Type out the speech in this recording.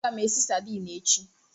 Aga m esi sadini echi.